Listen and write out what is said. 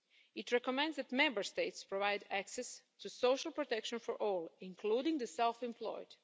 It recommends that Member States provide access to social protection for all, including the self-employed.